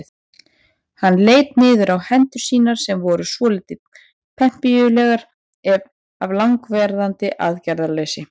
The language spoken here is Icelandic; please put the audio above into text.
Hann leit niður á hendur sínar sem voru svolítið pempíulegar af langvarandi aðgerðarleysi.